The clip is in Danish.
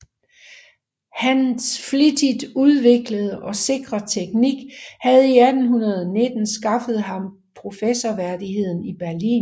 Hans flittigt udviklede og sikre teknik havde 1819 skaffet ham professorværdigheden i Berlin